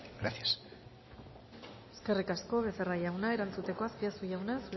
gracias eskerrik asko becerra jauna erantzuteko azpiazu jauna